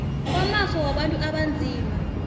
kwamafa wabantu abanzima